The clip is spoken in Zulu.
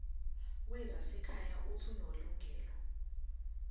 wezasekhaya uuthi unelungelo